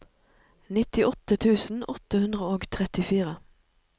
nittiåtte tusen åtte hundre og trettifire